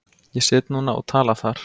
Ég sit núna og tala þar.